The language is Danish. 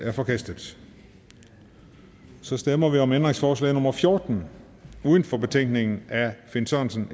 er forkastet så stemmer vi om ændringsforslag nummer fjorten uden for betænkningen af finn sørensen